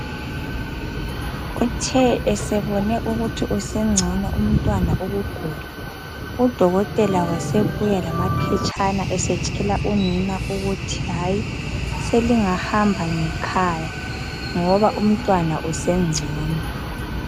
Uthe eseBone ukuthi sengcono umntwana ukugula Udokotela wasebuya lamaphetshana Esetshela unina ukuthi hayi selingahamba ngekhaya ngoba umntwana usengcono